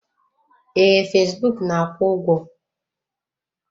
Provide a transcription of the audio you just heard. Ee, fesbụụk na-akwụ ụgwọ.